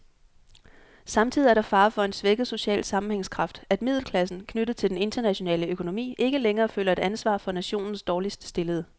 Samtidig er der fare for en svækket social sammenhængskraft, at middelklassen, knyttet til den internationale økonomi, ikke længere føler et ansvar for nationens dårligt stillede.